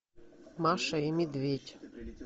маша и медведь